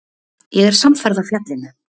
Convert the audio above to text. Ég er samferða fjallinu